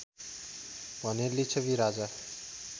भने लिच्छवि राजा